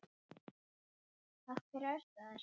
Af hverju ertu að þessu?